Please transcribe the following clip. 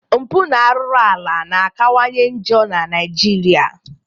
Mpụ na arụrụ ala na akawanye njọ na Naijiria.